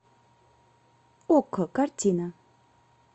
окко картина